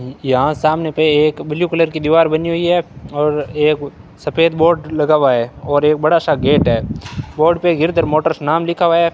यहां सामने पे एक ब्लू कलर की दीवार बनी हुई है और एक सफेद बोर्ड लगा हुआ है और एक बड़ा सा गेट है बोर्ड पे गिरधर मोटर्स नाम लिखा हुआ है।